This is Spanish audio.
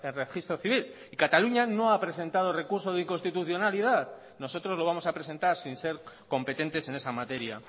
registro civil y cataluña no ha presentado recurso de inconstitucionalidad nosotros lo vamos a presentar sin ser competentes en esa materia